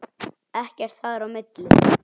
Ekkert þar á milli.